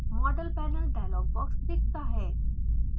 model panel dialogue box दिखता है